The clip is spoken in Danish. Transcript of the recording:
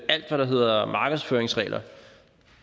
alt hvad der hedder markedsføringsregler